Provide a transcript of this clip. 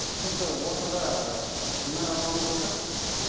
түсінікті ортада ы гүлнар апамыз отыр